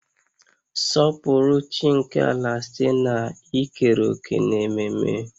Sọpụrụ chi nke ala site n'ikere òkè n'ememe